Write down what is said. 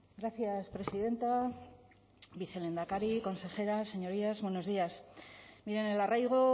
gracias presidenta vicelehendakari consejeras señorías buenos días miren el arraigo